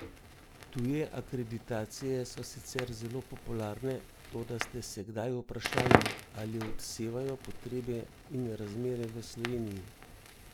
Tuje akreditacije so sicer zelo popularne, toda ste se kdaj vprašali, ali odsevajo potrebe in razmere v Sloveniji?